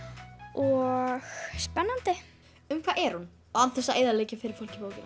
og spennandi um hvað er hún án þess að eyðileggja fyrir fólki bókina